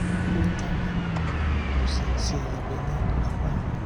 àti pé lánàá mo ṣe iṣẹ́ abẹ ní apá mi